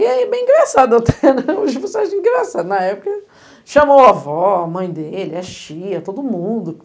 E aí, bem engraçado, pelo menos eu achei engraçado, na época, chamou a avó, a mãe dele, as tias, todo mundo.